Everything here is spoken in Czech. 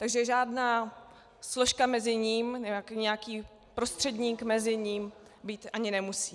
Takže žádná složka mezi ním, nějaký prostředník mezi ním být ani nemusí.